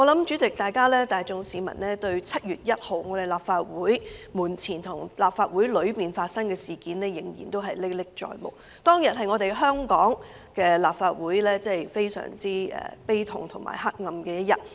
主席，我相信市民大眾對7月1日在立法會門前及裏面發生的事件仍然歷歷在目。當日是香港立法會非常悲痛和黑暗的一天。